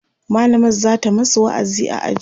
mallamar zata masu wa'azi a aji